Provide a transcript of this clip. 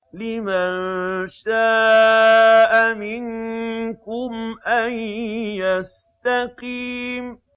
لِمَن شَاءَ مِنكُمْ أَن يَسْتَقِيمَ